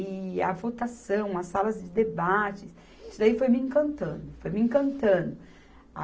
E a votação, as salas de debate, isso daí foi me encantando, foi me encantando.